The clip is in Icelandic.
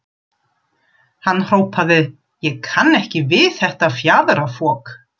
Hann hrópaði: Ég kann ekki við þetta fjaðrafok.